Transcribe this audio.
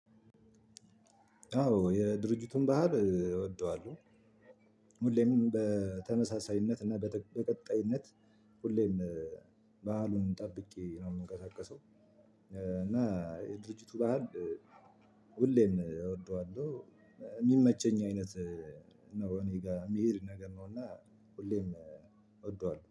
አዎ የድርጅቱን ባህር እወደዋለሁ። ሁሌም በተመሳሳይነት እና በቀጣይነት ሁሌም በዓሉን ጠብቄ ነው የምንቀሳቀሰው። እና የድርጅቱን ባህር ሁሌም እወደዋለሁ። የሚመቸኝ አይነት ነው። እኔ ጋር የሚሄድ ነገር ነው እና ሁሌም እወደዋለሁ